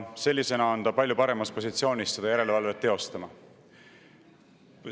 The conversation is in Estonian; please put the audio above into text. Sellisena on ta palju paremas positsioonis seda järelevalvet teostama.